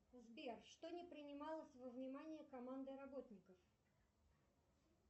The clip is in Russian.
сбер что не принималось во внимание командой работников